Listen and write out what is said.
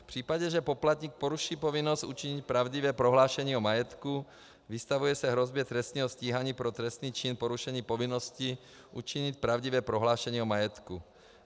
V případě, že poplatník poruší povinnost učinit pravdivé prohlášení o majetku, vystavuje se hrozbě trestního stíhání pro trestný čin porušení povinnosti učinit pravdivé prohlášení o majetku.